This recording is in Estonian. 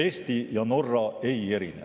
Eesti ja Norra ei erine.